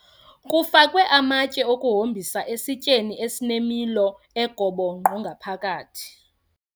Kufakwe amatye okuhombisa esityeni esinemilo egobongqo ngaphakathi.